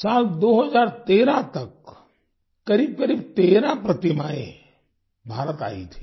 साल 2013 तक करीबकरीब 13 प्रतिमाएं भारत आयी थीं